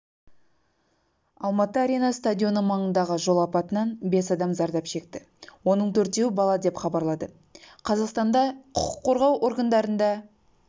алматы арена стадионы маңындағы жол апатынан бес адам зардап шекті оның төртеуі бала деп хабарлады қазақстанға құқық қорғау органдарында